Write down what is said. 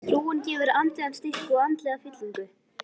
Trúin gefur andlegan styrk og andlega fyllingu.